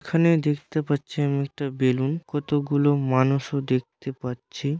এখানে দেখতে পাচ্ছি আমি একটা বেলুন কতগুলো মানুষ ও দেখতে পাচ্ছি।